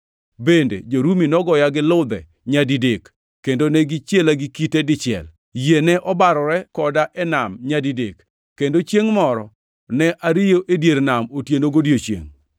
Bende jo-Rumi nogoya gi ludhe nyadidek, kendo ne gichiela gi kite dichiel. Yie ne obarore koda e nam nyadidek, kendo chiengʼ moro ne ariyo e dier nam otieno godiechiengʼ.